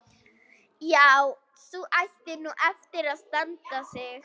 Já, sú ætti nú eftir að standa sig.